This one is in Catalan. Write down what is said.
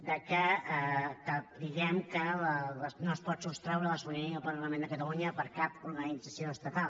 de que diguem que no es pot sostreure la sobirania del parlament de catalunya per cap organització estatal